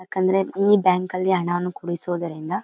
ಯಾಕಂದ್ರೆ ಈ ಬ್ಯಾಂಕ್ ಅಲ್ಲಿ ಹಣವನ್ನು ಕೂಡಿಸುವುದರಿಂದ--